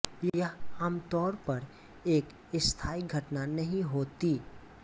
यह आमतौर पर एक स्थायी घटना नहीं होती